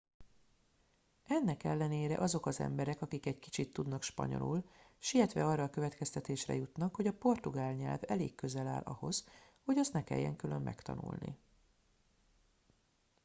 ennek ellenére azok az emberek akik egy kicsit tudnak spanyolul sietve arra a következtetésre jutnak hogy a portugál nyelv elég közel áll ahhoz hogy azt ne kelljen külön megtanulni